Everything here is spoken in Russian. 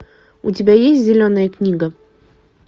у тебя есть зеленая книга